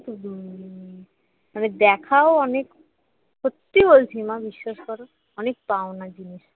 মানে দেখাও অনেক সত্যি বলছি মা বিশ্বাস কর অনেক পাওনা জিনিস